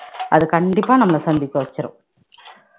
அது கண்டிப்பா நம்மள சந்திக்க வச்சிரும்